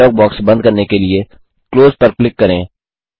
dialogue box बंद करने के लिए क्लोज पर क्लिक करें